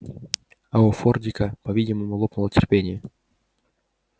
а у фордика по-видимому лопнуло терпение